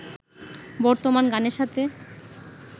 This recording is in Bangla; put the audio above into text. বর্তমানে গানের সাথে